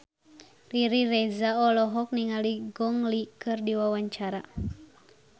Riri Reza olohok ningali Gong Li keur diwawancara